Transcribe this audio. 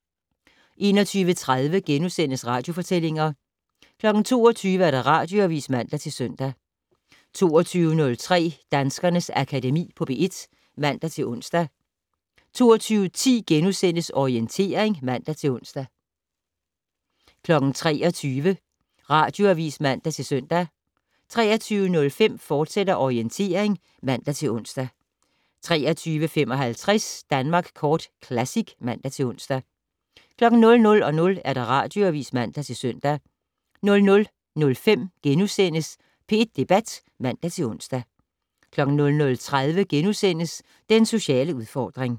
21:30: Radiofortællinger * 22:00: Radioavis (man-søn) 22:03: Danskernes Akademi på P1 (man-ons) 22:10: Orientering *(man-ons) 23:00: Radioavis (man-søn) 23:05: Orientering, fortsat (man-ons) 23:55: Danmark Kort Classic (man-ons) 00:00: Radioavis (man-søn) 00:05: P1 Debat *(man-ons) 00:30: Den sociale udfordring *